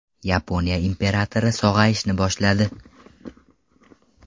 Yaponiya imperatori sog‘ayishni boshladi.